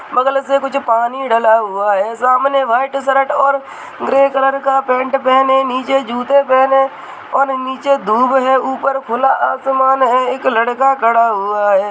बगल से कुछ पानी डला हुआ है सामने व्हाइट शर्ट और ग्रे कलर का पेन्ट पहने नीचे जूते पहने और नीचे धूप है ऊपर खुला आसमान है एक लड़का खड़ा हुआ है।